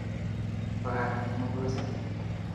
Bakak'ten mogose